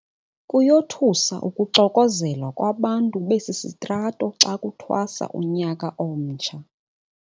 Kuyothusa ukuxokozela kwabantu besi sitrato xa kuthwasa unyaka omtsha.